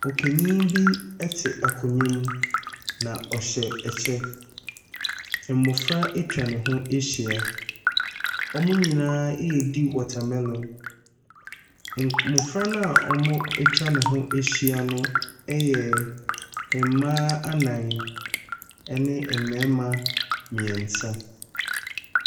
Ɔpanin bi ɛte akonnwa mu na ɔhyɛ ɛkyɛ, mmɔfra atwa ne ho ahyia, wɔn nyinaa ɛredi watermelon. Mmɔfra no a wɔatwa ne ho ahyia no ɛyɛ mmaa anan ɛne mmarima mmiɛnsa.